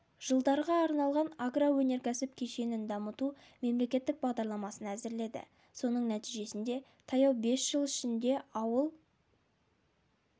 жылдарға арналған агроөнеркәсіп кешенін дамыту мемлекеттік бағдарламасын әзірледі соның нәтижесінде таяу бес жыл ішінде ауыл